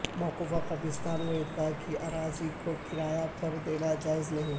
موقوفہ قبرستان و عیدگاہ کی اراضی کو کرایہ پر دینا جائز نہیں